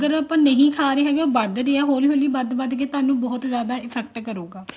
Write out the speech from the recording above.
ਅਗਰ ਆਪਾਂ ਨਹੀਂ ਖਾ ਰਹੇ ਤਾਂ ਵਧ ਰਿਹਾ ਹੋਲੀ ਹੋਲੀ ਵਧ ਰਿਹਾ ਹੋਲੀ ਹੋਲੀ ਵਧ ਵਧ ਕੇ ਤੁਹਾਨੂੰ ਬਹੁਤ ਜਿਆਦਾ effect ਕਰੂਗਾ